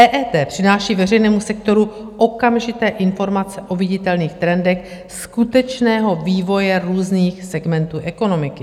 EET přináší veřejnému sektoru okamžité informace o viditelných trendech skutečného vývoje různých segmentů ekonomiky.